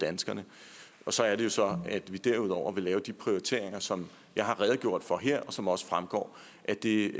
danskerne og så er det jo så at vi derudover vil lave de prioriteringer som jeg har redegjort for her og som også fremgår af det